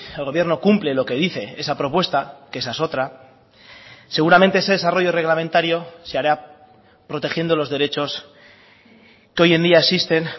el gobierno cumple lo que dice esa propuesta que esa es otra seguramente ese desarrollo reglamentario se hará protegiendo los derechos que hoy en día existen